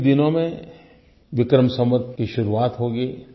कुछ ही दिनों में विक्रम संवत् की शुरुआत होगी